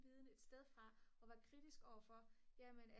viden et sted fra og være kritisk over for jamen er